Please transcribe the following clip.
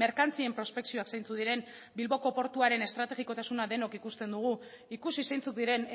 merkantzien prospekzioak zeintzuk diren bilboko portuaren estrategikotasuna denok ikusten dugu ikusi zeintzuk diren